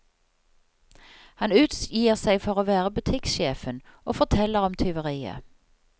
Han utgir seg for å være butikksjefen og forteller om tyveriet.